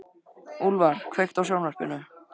Úlfar, kveiktu á sjónvarpinu.